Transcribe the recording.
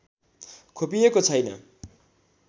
खोपिएको छैन